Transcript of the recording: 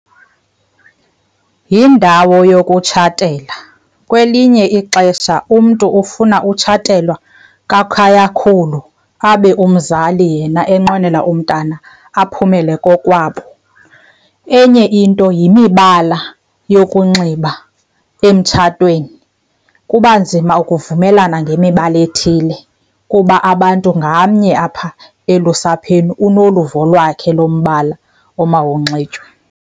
Yindawo yokutshatela, kwelinye ixesha umntu ufuna utshatela kwakhayakhulu abe umzali yena enqwenela umntana aphumele kokwabo. Enye into yimibala yokunxiba emtshatweni, kuba nzima ukuvumelana ngemibala ethile kuba abantu ngamnye apha elusapheni unoluvo lwakhe lombala omawunxitywe.